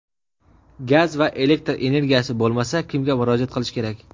Gaz va elektr energiyasi bo‘lmasa kimga murojaat qilish kerak?.